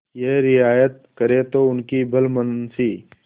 यह रियायत करें तो उनकी भलमनसी